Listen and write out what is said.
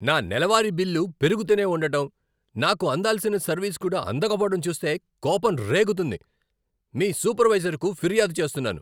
నా నెలవారీ బిల్లు పెరుగుతూనే ఉండటం, నాకు అందాల్సిన సర్వీస్ కూడా అందకపోవడం చూస్తే కోపం రేగుతుంది. మీ సూపర్వైజర్కు ఫిర్యాదు చేస్తున్నాను.